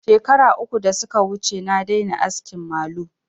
Shekaru uku da suka wuce na daina askin malu